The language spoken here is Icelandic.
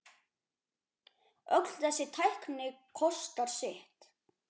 Öll þessi tækni kostar sitt.